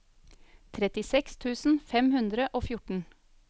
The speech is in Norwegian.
trettiseks tusen fem hundre og fjorten